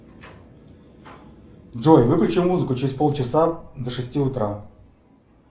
джой выключи музыку через полчаса до шести утра